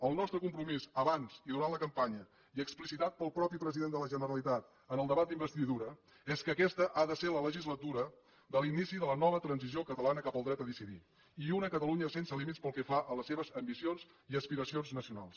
el nostre compromís abans i durant la campanya i explicitat pel mateix president de la generalitat en el debat d’investidura és que aquesta ha de ser la legislatura de l’inici de la nova transició catalana cap al dret a decidir i una catalunya sense límits pel que fa a les seves ambicions i aspiracions nacionals